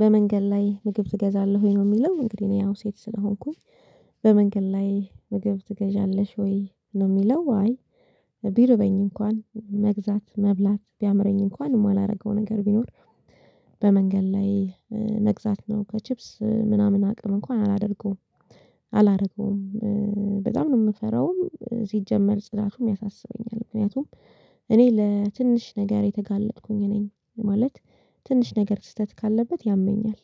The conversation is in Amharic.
በመንገድ ላይ ምግብ ትገዛለህ ወይ ነው ሚለው እንግዲህ እኔ ያው ሴት ስለሆንኩኝ። በመንገድ ላይ ምግብ ትገዣለሽ ወይ ነው የሚለው? አይ። ቢርበኝ እንኳን መግዛት መብላት ቢያምረኝ እንኳን ማላረገው ነገር ቢኖር። በመንገድ ላይ መግዛት ነው ከቺፕስ ምናምን አቅም እንኳን አላደርገውም። አላረገውም በጣም ነው ምፈራውም ሲጀመር ጽዳቱም ያሳስበኛል። ምክንያቱም እኔ ለትንሽ ነገር የተጋለጥኩኝ ነኝ። ማለት ትንሽ ነገር ስህተት ካለበት ያመኛል።